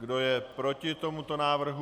Kdo je proti tomuto návrhu?